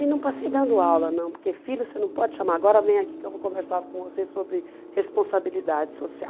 E não passei dando aula, não, porque filho você não pode chamar, agora vem aqui que eu vou conversar com você sobre responsabilidade social.